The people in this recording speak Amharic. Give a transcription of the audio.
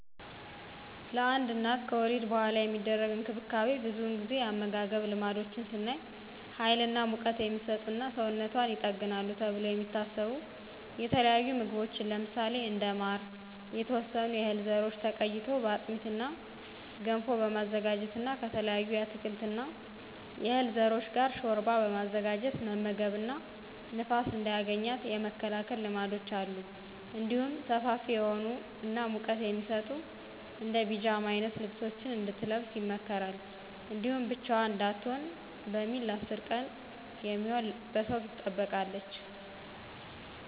ለአንድ እናት ከወሊድ በኃላ የሚደረግ እንክብካቤ ብዙውን ጊዜ የአመጋገብ ልማዶች ስናይ ሀይል እና ሙቀት" የሚሰጡ እና ሰውነቷን ይጠግናሉ ተብለው የሚታሰቡ የተለያዩ ምግቦች ለምሳሌ እንደ ማር፣ የተወሰኑ የህል ዘሮች ተቀይጦ በአጥሚት እና ገንፎ በማዘጋጀት እና ከተለያዩ የአትክልት እና የዕህል ዘሮች ጋር ሾርባ በማዘጋጀት መመገብ እና ንፋስ እንዳያገኛት የመከላከል ልማዶች አሉ። እንዲሁም ሰፋፊ የሆኑ እና ሙቀት የሚሰጡ እንደ ፒጃማ አይነት ልብሶችን እንድትለብስ ይመከራል። እንዲሁም ብቻዋን እንዳትሆን በሚል ለ10 ቀን የሚሆን በሰው ትጠበቃለች።